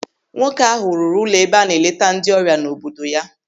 Nwoke ahụ rụrụ ụlọ ebe a na-eleta ndị ọrịa n'obodo ya.